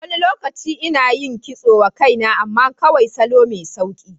Wani lokaci ina yin kitso wa kaina, amma kawai salo mai sauƙi.